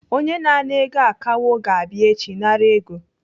Onye na-ana ego akawo ga-abịa echi nara ego.